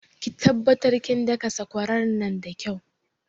Ki taɓattar kin daka sakwara nan da kyau